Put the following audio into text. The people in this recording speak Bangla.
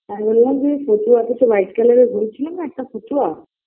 আমি বোললাম যে ফতুয়া কিছু white colour -এর বোলেছিলাম না একটা ফতুয়া